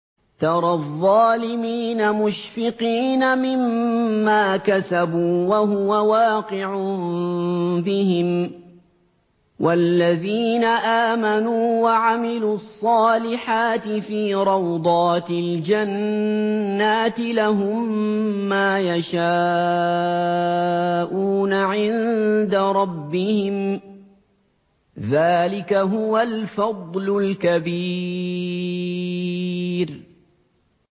تَرَى الظَّالِمِينَ مُشْفِقِينَ مِمَّا كَسَبُوا وَهُوَ وَاقِعٌ بِهِمْ ۗ وَالَّذِينَ آمَنُوا وَعَمِلُوا الصَّالِحَاتِ فِي رَوْضَاتِ الْجَنَّاتِ ۖ لَهُم مَّا يَشَاءُونَ عِندَ رَبِّهِمْ ۚ ذَٰلِكَ هُوَ الْفَضْلُ الْكَبِيرُ